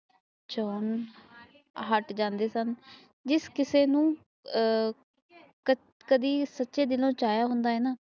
ਜਾਣ ਹਾਟ ਜਾਂਦੇ ਸਨ ਜਿਸ ਕਿਸੇ ਨੂੰ ਆ ਕਦੇ ਵੀ ਸਾਚੇ ਦਿਲੋਂ ਚਇਆ ਹੁੰਦਾ ਹੈਗਾ ਨਾ